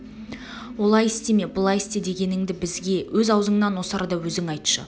олай істеме былай істе дегеніңді бізге өз аузыңнан осы арада өзің айтшы